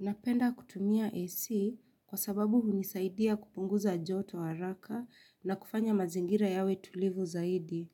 Napenda kutumia AC kwa sababu hunisaidia kupunguza joto haraka na kufanya mazingira yawe tulivu zaidi.